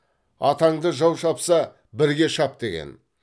атаңды жау шапса бірге шап деген